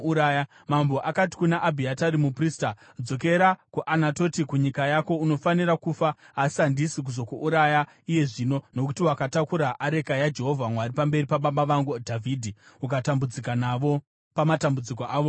Mambo akati kuna Abhiatari muprista, “Dzokera kuAnatoti, kunyika yako. Unofanira kufa. Asi handisi kuzokuuraya iye zvino, nokuti wakatakura areka yaJehovha Mwari pamberi pababa vangu Dhavhidhi ukatambudzika navo pamatambudziko avo ose.”